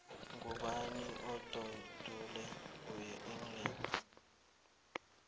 ngubani umbondule we england